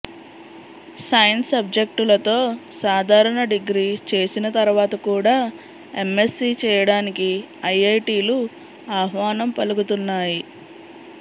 science సబ్జెక్టులతో సాధారణ degree చేసిన తర్వాత కూడా ఎమ్మెస్సీ చేయడానికి ఐఐటీలు ఆహ్వానం పలుకుతున్నాయి